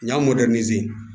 Ɲ'an